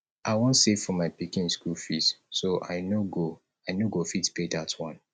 i wan save for my pikin school fees so i no go i no go fit pay dat one